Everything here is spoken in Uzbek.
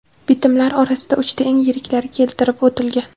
Bitimlar orasida uchta eng yiriklari keltirib o‘tilgan.